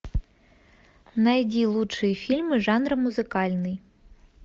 найди лучшие фильмы жанра музыкальный